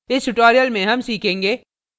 इस tutorial में हम सीखेंगे